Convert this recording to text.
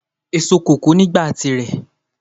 Èso kòkó ni ìgbà at àsìkò tí rẹ